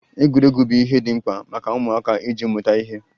Egwuregwu bụ ihe dị mkpa maka ụmụaka iji mụta ihe.